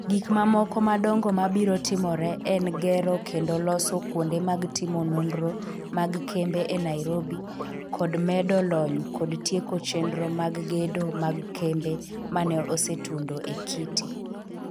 Gik mamoko madongo mabiro timore en gero kendo loso kuonde mag timo nonro mag kembe e Nairobi kod medo lony kod tieko chenro mag gedo mag kembe ma ne osetundo e KITI.